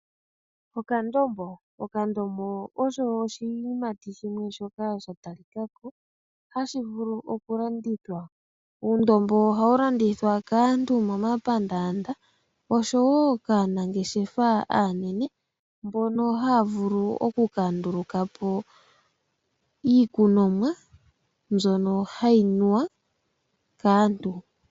Okandombo. Okandombo osho oshiyimati shimwe shoka sha ta li kako hashi vulu oku landithwa. Uundombo ohawu landithwa kaantu momapandaanda, osho wo kaanangeshefa aanene, mbono haya vulu oku ka nduluka po iikunomwa, mbyono hayi nuwa kaantu.